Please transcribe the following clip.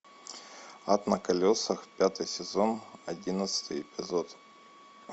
ад на колесах пятый сезон одиннадцатый эпизод